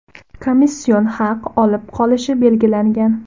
komission haq olib qolishi belgilangan.